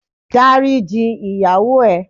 Dáríji ìyàwó ẹ